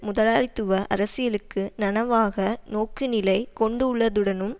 முதலாளித்துவ அரசியலுக்கு நனவாக நோக்குநிலை கொண்டுள்ளதுடனும்